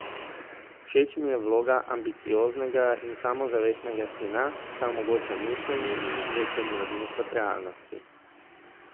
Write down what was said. Všeč mi je vloga ambicioznega in samozavestnega sina, saj omogoča miselni in izvedbeni odmik od realnosti.